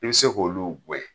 I be se k'olu gwɛn.